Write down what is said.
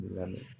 Lamɛn